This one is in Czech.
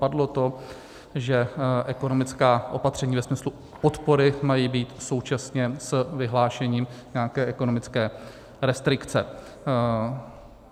Padlo to, že ekonomická opatření ve smyslu podpory mají být současně s vyhlášením nějaké ekonomické restrikce.